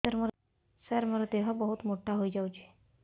ସାର ମୋର ଦେହ ବହୁତ ମୋଟା ହୋଇଯାଉଛି